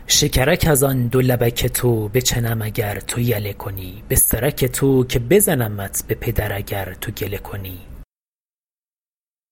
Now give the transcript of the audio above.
شکرک از آن دو لبک تو بچنم اگر تو یله کنی به سرک تو که بزنمت به پدر اگر تو گله کنی